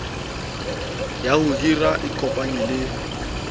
ya ho hira ikopanyeng le